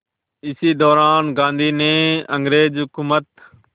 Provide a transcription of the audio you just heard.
इसी दौरान गांधी ने अंग्रेज़ हुकूमत